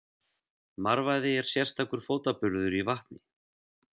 Marvaði er sérstakur fótaburður í vatni.